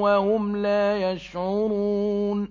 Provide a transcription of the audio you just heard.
وَهُمْ لَا يَشْعُرُونَ